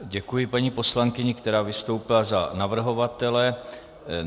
Děkuji paní poslankyni, která vystoupila za navrhovatele.